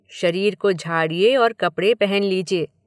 शरीर को झाड़िये और कपड़े पहन लीजिए।